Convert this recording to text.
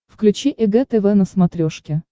включи эг тв на смотрешке